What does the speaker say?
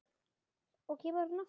Og kemur hann aftur?